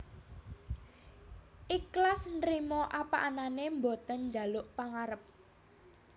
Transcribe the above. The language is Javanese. Iklas Nrimo apa anane boten njaluk pangarep